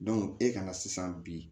e kana sisan bi